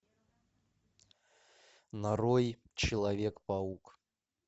нарой человек паук